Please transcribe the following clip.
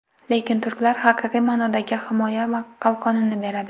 Lekin turklar haqiqiy ma’nodagi himoya qalqonini beradi.